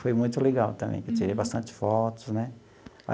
Foi muito legal também, porque eu tirei bastante fotos, né?